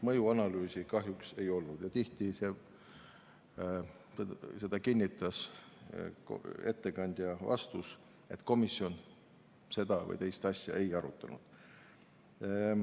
Mõjuanalüüsi kahjuks ei olnud ja tihti seda või teist asja, nagu kinnitas ettekandja oma vastuses, komisjon ei arutanud.